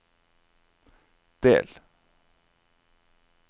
del